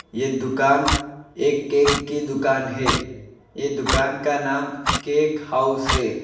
यह दुकान एक केक की दुकान है ये दुकान का नाम केक हाउस है।